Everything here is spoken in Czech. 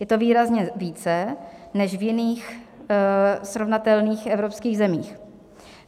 Je to výrazně více než v jiných srovnatelných evropských zemích.